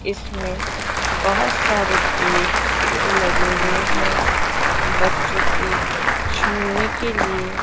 इसमें बहोत सारे पेड़ लगे हुए हैं बच्चों के झूलने के लिए --